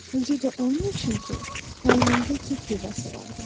Özü də onun üçün ki, əynində Türkiyə fesi vardı.